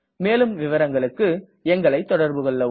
மேலும் விவரங்களுக்கு எங்களை தொடர்புகொள்ளவும்